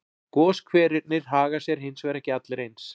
Goshverirnir haga sér hins vegar ekki allir eins.